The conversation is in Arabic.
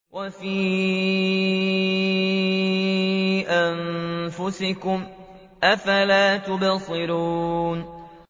وَفِي أَنفُسِكُمْ ۚ أَفَلَا تُبْصِرُونَ